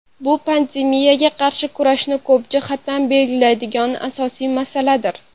Bu pandemiyaga qarshi kurashni ko‘p jihatdan belgilaydigan asosiy masaladir.